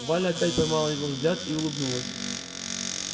валя опять поймала его взгляд и улыбнулась